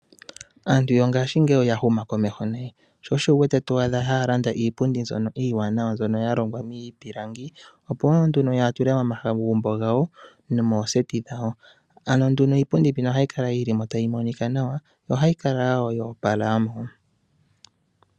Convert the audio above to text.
Aantu yongaashingeyi oya huma komeho nayi sho osho to adha yalanda iipundi ndyono iiwanawa, ndyono yalongwa miipilangi opo yatule momagumbo gawo nomooseti dhawo. Iipundi mbika ohayi kala yili mo tayi monika nawa nohayi kala yoopala.